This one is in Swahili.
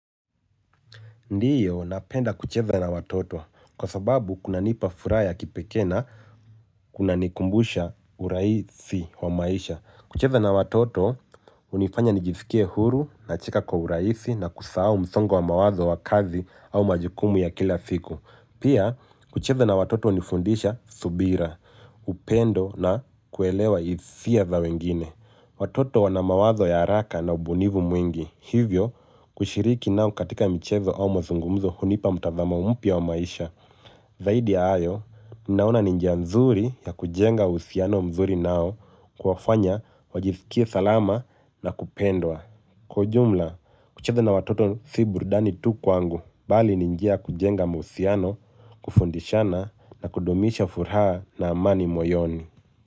Ndio napenda kucheza na watoto kwa sababu kunanipa furaha ya kipekee na kunanikumbusha urahisi wa maisha kucheza na watoto hunifanya nijisikie huru nacheka kwa urahisi na kusahau msongo wa mawazo wa kazi au majukumu ya kila siku. Pia kucheza na watoto hunifundisha subira upendo na kuelewa hisia za wengine. Watoto wana mawazo ya haraka na ubunifu mwingi. Hivyo, kushiriki nao katika michezo au mazungumzo hunipa mtazamo mpya wa maisha. Zaidi ya hayo, ninaona ni njia nzuri ya kujenga uhusiano mzuri nao kuwafanya, wajisikie salama na kupendwa. Kwa ujumla, kucheza na watoto si burudani tu kwangu bali ni njia ya kujenga mahusiano, kufundishana na kudumisha furaha na amani moyoni.